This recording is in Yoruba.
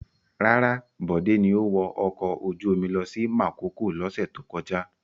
Rárá, Bode ni ó wọ ọkọ̀ ojú-omi lọ sí Makòko lọ́sẹ̀ tó kọjá.